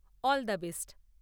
All the best!